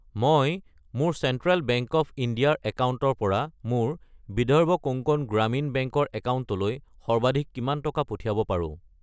মই মোৰ central bank of India ৰ একাউণ্টৰ পৰা মোৰ বিদৰ্ভ কোংকণ গ্ৰামীণ বেংক ৰ একাউণ্টলৈ সৰ্বাধিক কিমান টকা পঠিয়াব পাৰো?